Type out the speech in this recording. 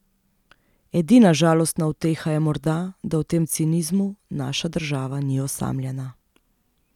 Edina žalostna uteha je morda, da v tem cinizmu naša država ni osamljena.